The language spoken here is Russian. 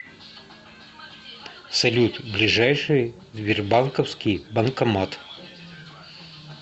салют ближайший сбербанковский банкомат